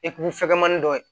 Epi fɛgɛmani dɔ ye